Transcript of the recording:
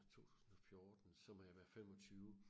2014 så må jeg være 25